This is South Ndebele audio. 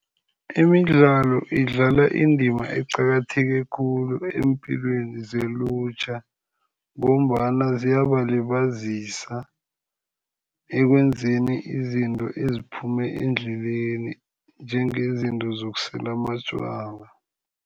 Imidlalo idlala indima eqakatheke khulu eempilweni zelutjha. Ngombana ziyabalibazisa ekwenzeni izinto eziphume endleleni, njengezinto zokusela amatjwala.